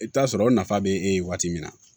I bɛ t'a sɔrɔ o nafa bɛ e ye waati min na